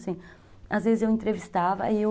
Às vezes eu entrevistava e eu...